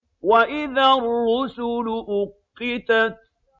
وَإِذَا الرُّسُلُ أُقِّتَتْ